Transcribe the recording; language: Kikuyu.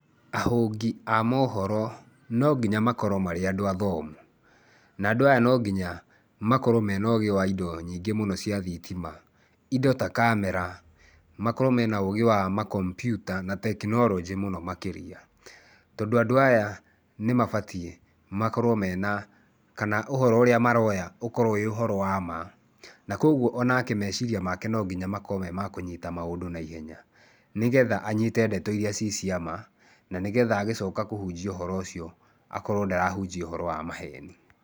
Ahũngi a maũhoro no nginya makorwo marĩ andũ athomu. Na andũ aya no nginya makorwo mena ũgĩ wa indo nyingĩ mũno cia thitima. Indo ta kamera, makorwo mena ũgĩ wa makompiuta na tekinoronjĩ mũno makĩria. Tondũ andũ aya nĩ mabatiĩ makorwo mena, kana ũhoro ũrĩa maroya, ũkorwo wĩ ũhoro wa ma. Na kwoguo o nake meciria make no nginya makorwo me makũnyita maũndũ naihenya nĩgetha anyite ndeto iria ci cia ma, na nĩgetha agĩcoka kũhunjia ũhoro ũcio akorwo ndarahunjia ũhoro wa maheni.